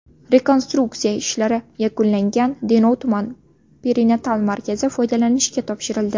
Rekonstruksiya ishlari yakunlangan Denov tuman perinatal markazi foydalanishga topshirildi.